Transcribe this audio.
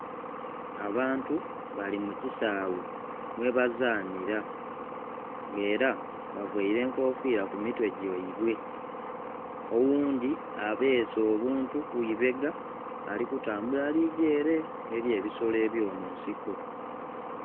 Abantu bali mu kisaghe mwebazanhira nga era bavaire enkofiira ku mitwe gyaibwe, oghundhi abeese obuntu ku ibega ali kutambula ali gya ere eri ebisolo eby'omunsiko.